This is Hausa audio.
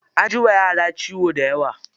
An ji wa yara ciwo dayawa.